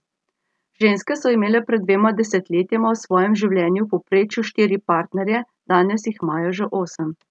Ženske so imele pred dvema desetletjema v svojem življenju v povprečju štiri partnerje, danes jih imajo že osem.